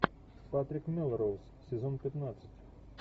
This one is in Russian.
патрик мелроуз сезон пятнадцать